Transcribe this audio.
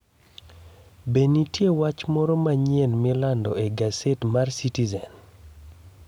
Be nitie wach moro manyien milando e gaset mar Citizen?